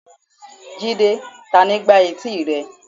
jide, tani gbá eti rẹ?